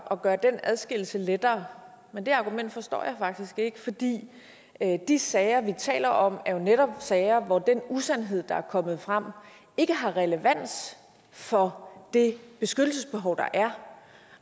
at gøre den adskillelse lettere men det argument forstår jeg faktisk ikke fordi de sager vi taler om jo netop er sager hvor den usandhed der er kommet frem ikke har relevans for det beskyttelsesbehov der er